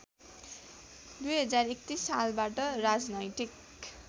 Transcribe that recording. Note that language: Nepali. २०३१ सालबाट राजनैतिक